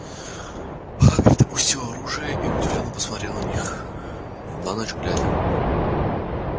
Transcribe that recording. хагрид опустил оружие и удивлённо посмотрел на них на ночь глядя